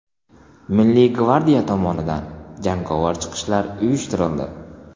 Milliy gvardiya tomonidan jangovar chiqishlar uyushtirildi.